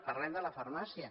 parlem de la farmàcia